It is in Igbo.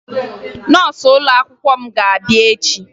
Nọọsụ ụlọakwụkwọ m ga-abịa echie